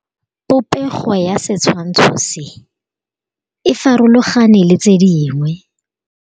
Popêgo ya setshwantshô se, e farologane le tse dingwe.